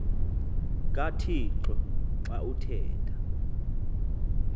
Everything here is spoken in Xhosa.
kathixo xa uthetha